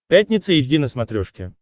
пятница эйч ди на смотрешке